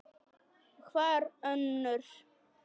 Hver önnur?